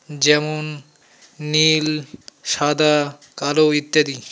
যেমন নীল সাদা কালো ইত্যাদি .]